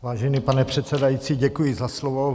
Vážený pane předsedající, děkuji za slovo.